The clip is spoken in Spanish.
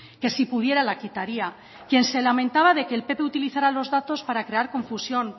que si pudiera la quitaría quien se lamentaba de que el pp utilizara los datos para crear confusión